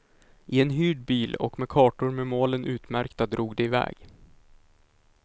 I en hyrd bil och med kartor med målen utmärkta drog de iväg.